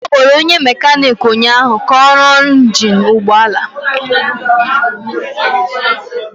Akpọrọ onye mekaniki ụnyahụ ka ọ rụọ ọrụ injin ụgbọ ala